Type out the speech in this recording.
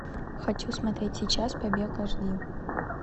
хочу смотреть сейчас побег аш ди